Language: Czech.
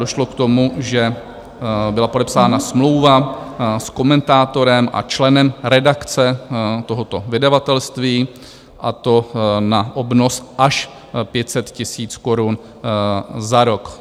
Došlo k tomu, že byla podepsána smlouva s komentátorem a členem redakce tohoto vydavatelství, a to na obnos až 500 000 korun za rok.